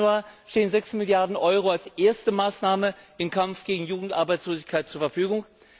1. Januar stehen 6 Milliarden Euro als erste Maßnahme im Kampf gegen Jugendarbeitslosigkeit zur Verfügung.